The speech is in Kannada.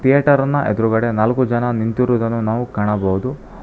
ಥೇಟರಿನ ಎದುರುಗಡೆ ನಾಲ್ಕು ಜನ ನಿಂತಿರುವುದನ್ನು ನಾವು ಕಾಣಬಹುದು.